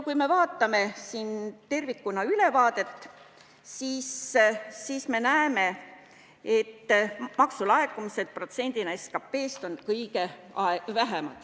Kui me vaatame ülevaadet tervikuna, siis me näeme, et maksulaekumisi protsendina SKT-st on kõige vähem.